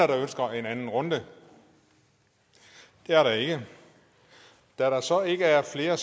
der ønsker en anden runde det er der ikke da der så ikke er flere